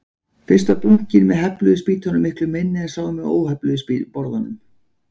Fyrst var bunkinn með hefluðu spýtunum miklu minni en sá með óhefluðu borðunum.